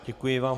Děkuji vám.